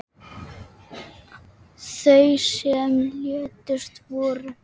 Þau sem létust voru